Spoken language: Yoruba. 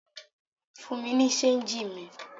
Fún mi ní ṣéńjì mi!